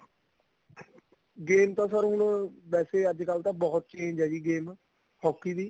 game ਤਾਂ ਹੁਣ sir ਵੈਸੇ ਅੱਜਕਲ ਤਾਂ ਬਹੁਤ change ਏ game hockey ਦੀ